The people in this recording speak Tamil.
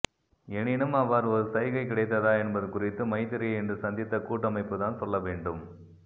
எனினும் அவ்வாறு ஒரு சைகை கிடைத்ததா என்பது குறித்து மைத்திரியை இன்று சந்தித்த கூட்டமைப்புத்தான் சொல்லவேண்டும்